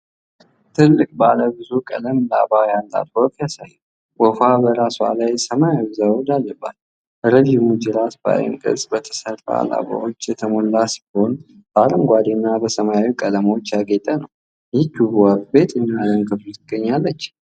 ትልቅ ባለ ብዙ ቀለም ላባ ያላት ወፍ ያሳያል። ወፏ በራሷ ላይ ሰማያዊ ዘውድ አለባት። ረዥሙ ጅራቷ በዓይን ቅርጽ በተሰሩ ላባዎች የተሞላ ሲሆን፣ በአረንጓዴ እና ሰማያዊ ቀለሞች ያጌጠ ነው። ይህቺ ውብ ወፍ በየትኛው የዓለም ክፍል ትገኛለች?